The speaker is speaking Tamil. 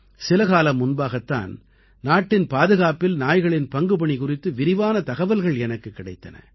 சில காலம் முன்பாகத் தான் நாட்டின் பாதுகாப்பில் நாய்களின் பங்குபணி குறித்து விரிவான தகவல்கள் எனக்குக் கிடைத்தன